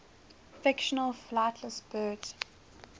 fictional flightless birds